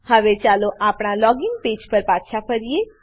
હવે ચાલો આપણા લોગિન પેજ લોગીન પેજ પર પાછા ફરીએ